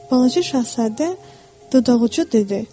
Balaca Şahzadə dodaqucu dedi.